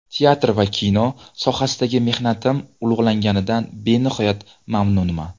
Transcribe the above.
Teatr va kino sohasidagi mehnatim ulug‘langanidan benihoya mamnunman.